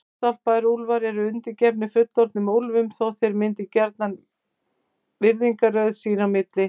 Hálfstálpaðir úlfar eru undirgefnir fullorðnum úlfum þótt þeir myndi gjarnan virðingarröð sín á milli.